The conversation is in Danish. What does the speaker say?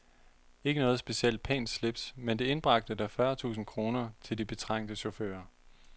Ikke noget specielt pænt slips men det indbragte da fyrre tusind kroner til de betrængte chauffører.